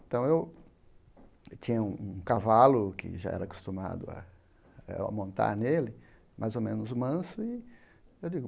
Então, eu eu tinha um um cavalo que já era acostumado eh a montar nele, mais ou menos manso, e eu digo,